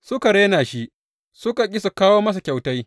Suka rena shi suka ƙi su kawo masa kyautai.